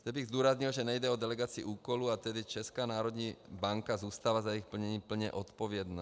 Rád bych zdůraznil, že nejde o delegaci úkolů, a tedy Česká národní banka zůstala za jejich plnění plně odpovědna.